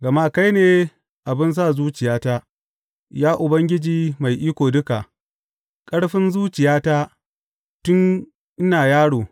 Gama kai ne abin sa zuciyata, ya Ubangiji Mai Iko Duka, ƙarfin zuciyata tun ina yaro.